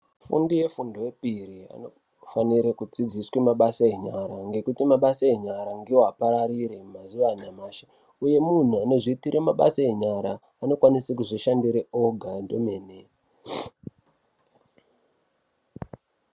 Afundi efundo yepiri vanofanire kudzidziswe mabasa enyara ngekuti mabasa enyara ngiwo akawarire mazuva anyamashi uye munhu anozviitire mabasa enyara anokwanise kuzvishandire oga ndomene.